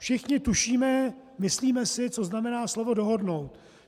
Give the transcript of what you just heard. Všichni tušíme, myslíme si, co znamená slovo dohodnout.